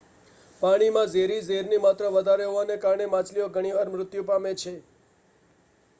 પાણીમાં ઝેરી ઝેરની માત્રા વધારે હોવાને કારણે માછલીઓ ઘણી વાર મૃત્યુ પામે છે